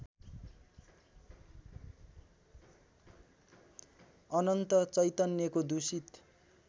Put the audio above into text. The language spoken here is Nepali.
अनन्त चैतन्यको दूषित